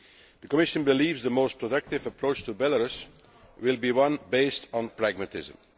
The Commission believes that the most productive approach to Belarus will be one based on pragmatism.